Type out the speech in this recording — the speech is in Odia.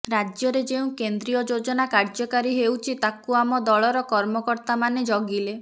ରାଜ୍ୟରେ ଯେଉଁ କେନ୍ଦ୍ରୀୟ ଯୋଜନା କାର୍ଯ୍ୟକାରୀ ହେଉଛି ତାକୁ ଆମ ଦଳର କର୍ମକର୍ତ୍ତା ମାନେ ଜଗିଲେ